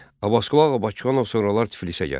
Abbasqulu Ağa Bakıxanov sonralar Tiflisə gəlir.